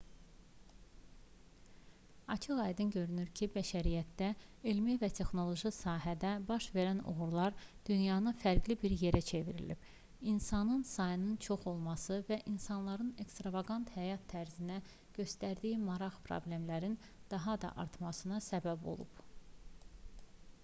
açıq-aydın görünür ki bəşəriyyətdə elmi və texnoloji sahədə baş verən uğurlar dünyanı fərqli bir yerə çevirib insan sayının çox olması və insanların ekstravaqant həyat tərzinə göstərdiyi maraq problemlərin daha da artmasına səbəb olub